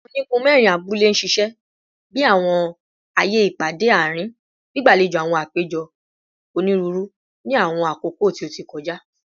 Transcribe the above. Awọn onigun mẹrin abule ṣiṣẹ bi awọn aaye ipade aarin, gbigbalejo awọn apejọ oniruuru ni awọn akoko ti o ti kọja